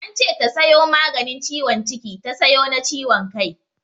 Ance ta sayo maganin ciwon ciki ta sayo na ciwon kai.